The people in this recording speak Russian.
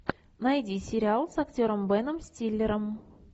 найди сериал с актером беном стиллером